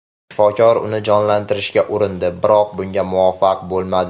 Shifokor uni jonlantirishga urindi, biroq bunga muvaffaq bo‘lmadi.